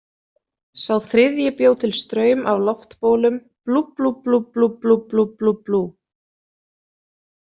Sá þriðji bjó til straum af loftbólum, blúblúblúblúblúblúblúblú.